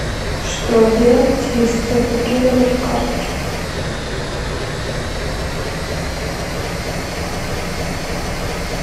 что делать если заблокировали карточку